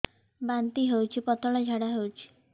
ବାନ୍ତି ହଉଚି ପତଳା ଝାଡା ହଉଚି